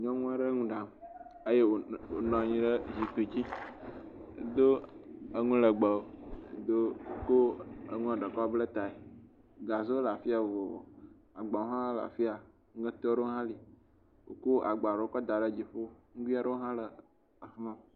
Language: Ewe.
Nyɔnu aɖe le nu ɖam, eye wònɔ anyi ɖe zikpui dzi, edo enu legbe, wodo ko enuɔ ɖe kɔ bla tae, gazewo le afi ya vovovo, agbawo hã afi ya, … hã le, wokɔ agba aɖewo kɔ da ɖe dzoƒo